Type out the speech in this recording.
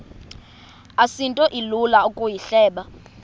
asinto ilula ukuyihleba